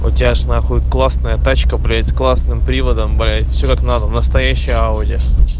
у тебя же на хуй классная тачка блять с классным приводом блять все как надо настоящая ауди